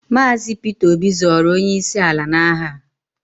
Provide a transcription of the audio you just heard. Maazi Peter Obi zọọrọ onye isi ala na aha.